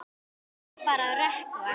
Nú má fara að rökkva.